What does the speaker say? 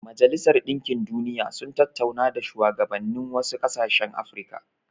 Majalisar Dinkin Duniya sun tattauna da shuwagabannin wasu ƙasashen Afirka.